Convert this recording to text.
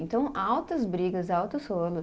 Então, altas brigas, altos rolos.